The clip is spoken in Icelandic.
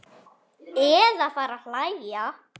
Eða fara að hlæja.